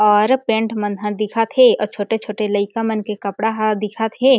और पेंट मनह दिखत हे और छोटे-छोटे लइका मन के कपड़ा ह दिखत हे।